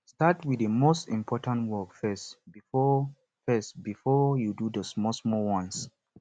start with the most important work first before first before you do the smallsmall ones